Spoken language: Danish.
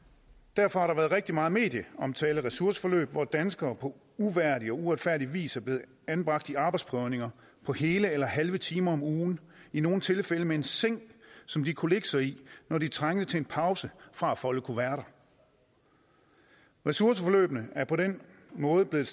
derfor har der været rigtig meget medieomtale af ressourceforløb hvor danskere på uværdig og uretfærdig vis er blevet anbragt i arbejdsprøvninger på hele eller halve timer om ugen i nogle tilfælde med en seng som de kunne lægge sig i når de trængte til en pause fra at folde kuverter ressourceforløbene er på den måde blevet